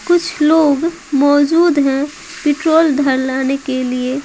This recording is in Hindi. कुछ लोग मौजूद हैं पेट्रोल डरवाने के लिए।